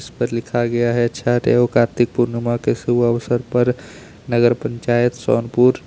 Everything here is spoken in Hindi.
इस लिखा गया है छठ एवं कार्तिक पूर्णिमा के शुभ अवसर पर नगर पंचायत सोनपुर।